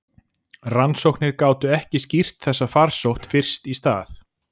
Rannsóknir gátu ekki skýrt þessa farsótt fyrst í stað.